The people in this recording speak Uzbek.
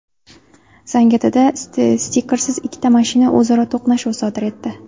Zangiotada stikersiz ikkita mashina o‘zaro to‘qnashuv sodir etdi.